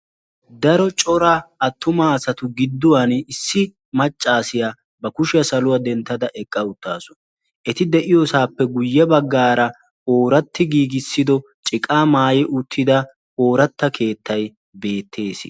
daro corra attuma assatu gidoni issi maccasiya ba kushshiyaa saluwaa dentada eqa uttasu etti de"iyossappe guyessara oratti giigisido urqaa maayi uttida keettay beettessi.